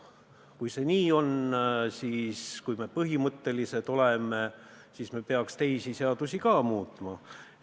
Kui see nii on ja kui me põhimõttelised oleme, siis peaksime ka teisi seadusi muutma.